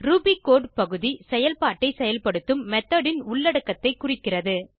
Ruby code பகுதி செயல்பாட்டை செயல்படுத்தும் மெத்தோட் ன் உள்ளடக்கத்தை குறிக்கிறது